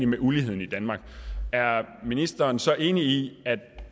med uligheden i danmark er ministeren så enig i at